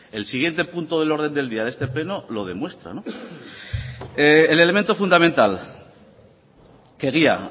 el siguiente punto del orden del día de este pleno lo demuestra el elemento fundamental que guía